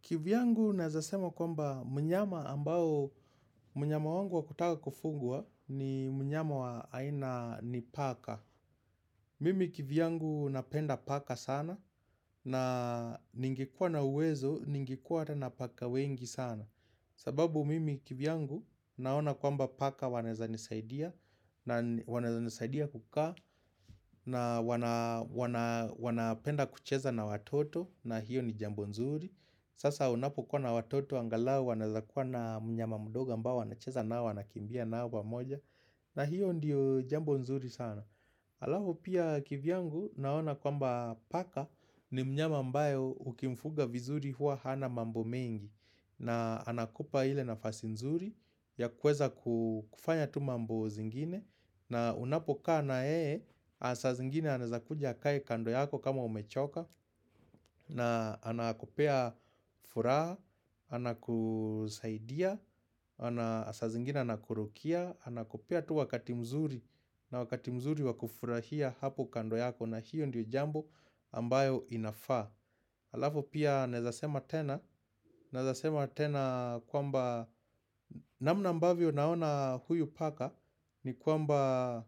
Kivyangu naeza sema kwamba mnyama ambao mnyama wangu wa kutaka kufuga ni mnyama wa aina ni paka Mimi kivyangu napenda paka sana na ningekuwa na uwezo ningekuwa hata na paka wengi sana sababu mimi kivyangu naona kwamba paka wanaeza nisaidia na wanaeza nisaidia kukaa na wanapenda kucheza na watoto na hiyo ni jambo nzuri Sasa unapokuwa na watoto angalau wanaezakuwa na mnyama mdogo ambao anacheza nao wanakimbia nao pamoja na hiyo ndiyo jambo nzuri sana Alafu pia kivyangu naona kwamba paka ni mnyama ambaye ukimfuga vizuri huwa hana mambo mengi na anakupa ile nafasi nzuri ya kuweza kufanya tu mambo zingine na unapo kaa na yeye saa zingine anaezakuja akae kando yako kama umechoka na anakupea furaha, anakusaidia, saa zingine anakurukia Anakupea tu wakati mzuri na wakati mzuri wakufurahia hapo kando yako na hiyo ndiyo jambo ambayo inafaa alafu pia naezasema tena, naezasema tena kwamba namna ambavyo naona huyu paka ni kwamba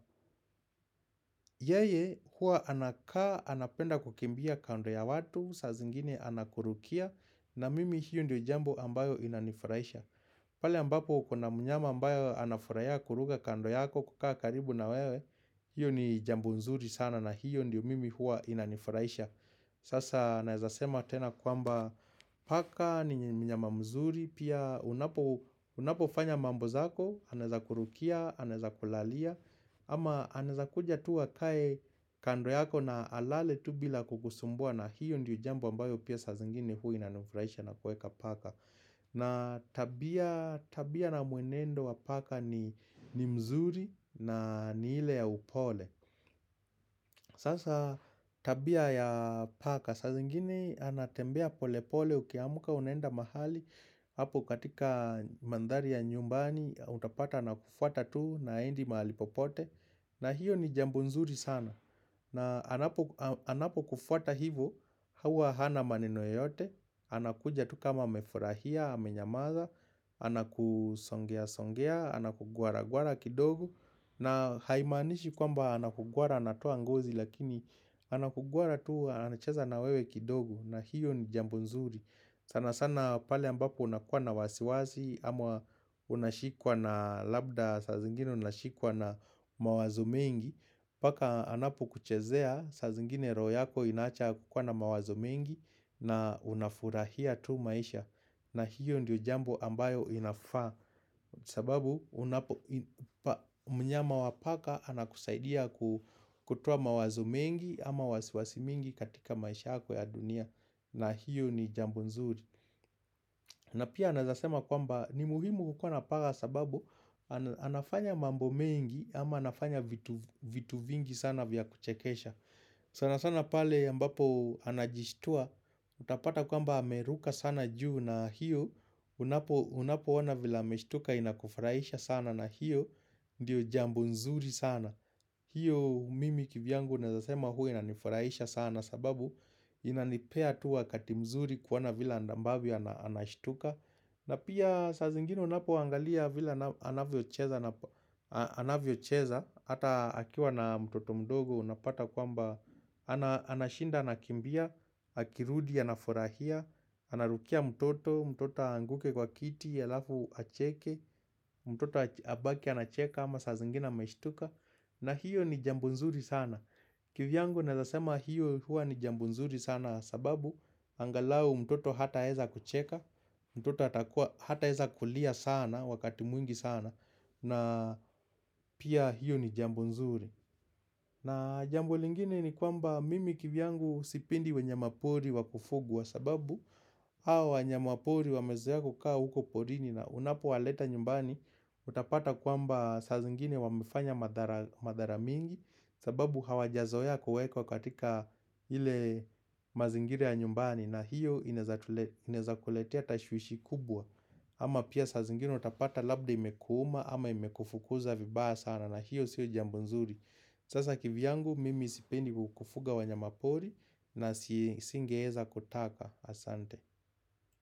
yeye huwa anakaa, anapenda kukimbia kando ya watu, saa zingine anakurukia na mimi hiyo ndiyo jambo ambayo inanifurahisha pale ambapo kuna mnyama ambayo anafurahia kuruka kando yako kukaa karibu na wewe hiyo ni jambo nzuri sana na hiyo ndiyo mimi huwa inanifurahisha Sasa naezasema tena kwamba paka ni mnyama mzuri Pia unapofanya mambo zako, anaezakurukia, anaezakulalia ama anaezakuja tu akae kando yako na alale tu bila kukusumbua na hiyo ndiyo jambo ambayo pia saa zingine huwa inanifurahisha na kuweka paka na tabia na mwenendo wa paka ni mzuri na ni ile ya upole Sasa tabia ya paka saa zingine anatembea pole pole ukiamumka unaenda mahali hapo katika mandhari ya nyumbani utapata na kufuata tu na haendi mahali popote na hiyo ni jambo nzuri sana na anapokufuata hivo, huwa hana maneno yoyote, anakuja tu kama amefurahia, amenyamaza, anakusongea-songea, anakugwara-gwara kidogo na haimanishi kwamba anakugwara anatoa ngozi lakini anakugwara tu anacheza na wewe kidogo na hiyo ni jambo nzuri sana sana pale ambapo unakuwa na wasiwasi ama unashikwa na labda saa zingine unashikwa na mawazo mengi Paka anapokuchezea saa zingine roho yako inaacha kukuwa na mawazo mengi na unafurahia tu maisha na hiyo ndiyo jambo ambayo inafaa sababu mnyama wa paka anakusaidia kutoa mawazo mengi ama wasiwasi mingi katika maisha yako ya dunia na hiyo ni jambo nzuri na pia naezasema kwamba ni muhimu kukuwa na paka sababu anafanya mambo mengi ama anafanya vitu vingi sana vya kuchekesha sana sana pale ambapo anajistua Utapata kwamba ameruka sana juu na hiyo Unapona vila ameshtuka inakufurahisha sana na hiyo Ndiyo jambo nzuri sana hiyo mimi kivyangu naezasema huwa inanifurahisha sana sababu Inanipea tu wakati mzuri kuona vile ambavyo anashtuka na pia saa zingine unapoangalia vile anavyocheza Hata akiwa na mtoto mdogo unapata kwamba Anashinda anakimbia, akirudi anafurahia Anarukia mtoto, mtoto aanguke kwa kiti, alafu acheke mtoto abaki anacheka ama saa zingine ameshtuka na hiyo ni jambo nzuri sana kivyangu naezasema hiyo huwa ni jambo nzuri sana sababu angalau mtoto hataweza kucheka mtoto hataeza kulia sana wakati mwingi sana na pia hiyo ni jambo nzuri na jambo lingine ni kwamba mimi kivyangu sipendi wanyama pori wakufugwa kwa sababu hao wanyama pori wamezoea kukaa huko porini na unapowaleta nyumbani Utapata kwamba saa zingine wamefanya madhara mingi sababu hawajazoea kuwekwa katika ile mazingira ya nyumbani na hiyo inaeza kuletea tashwishwi kubwa ama pia saa zingine utapata labda imekuuma ama imekufukuza vibaya sana na hiyo sio jambo nzuri Sasa kivyangu mimi sipendi kufuga wanyama pori na singeweza kutaka asante.